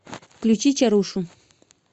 включи чарушу